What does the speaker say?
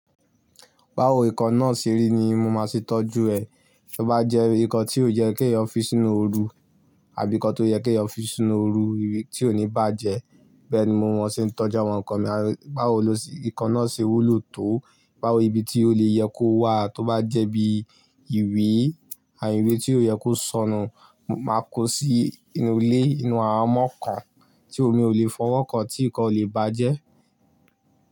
Báwo nǹkan náà ṣe rí ni mo máa ṣe tọ́jú ẹ. Tó bá jẹ́ nǹkan tí ó yẹ kí ẹ fi sínú ooru àbí nǹkan tó yẹ kí ẹ fi sínú ooru tí ò ní bàjẹ́. Bẹ́ẹ̀ ni mo máa ṣe tọ́jú àwọn nǹkan mi. Báwo ló ṣe nǹkan náà ṣe wúlò tó, báwo ibi tí ó lè yẹ kó wà, tó bá jẹ́ bí ìwé àbí ìwé tí ò yẹ kó sọnù, máa kó sí inú ilé, inú ahamon kan tí omi ò lè fọwọ́ kan tí nǹkan ò lè bàjẹ́.